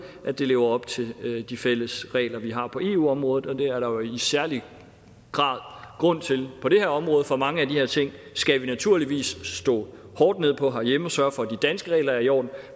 lever op til de fælles regler vi har på eu området og det er der jo i særlig grad grund til på det her område for mange af de her ting skal vi naturligvis slå hårdt ned på herhjemme og sørge for at de danske regler er i orden